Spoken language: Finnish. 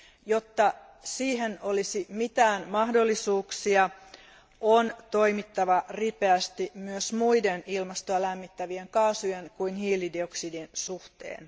Jotta siihen olisi mitään mahdollisuuksia, on toimittava ripeästi myös muiden ilmastoa lämmittävien kaasujen kuin hiilidioksidin suhteen.